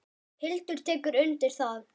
Hildur tekur undir það.